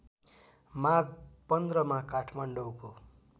माघ १५ मा काठमाडौँको